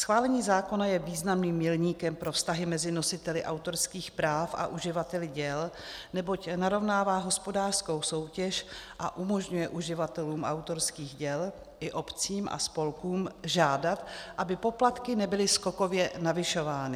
Schválení zákona je významným milníkem pro vztahy mezi nositeli autorských práv a uživateli děl, neboť narovnává hospodářskou soutěž a umožňuje uživatelům autorských děl i obcím a spolkům žádat, aby poplatky nebyly skokově navyšovány.